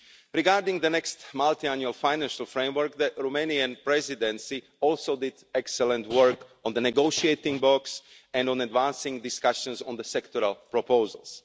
Regarding the next multiannual financial framework, the Romanian Presidency also did excellent work on the negotiating box and on advancing discussions on the sectoral proposals.